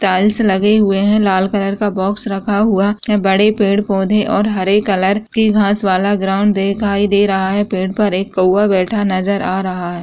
Tiles लगे हुए है | लाल कलर का बॉक्स रखा हुआ। बड़े पेड़ पौधे और हरे कलर के घास वाला ग्राउन्ड दिखाई दे रहा है पेड़ पर एक कौवा बैठा नजर आ रहा है |